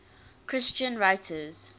christian writers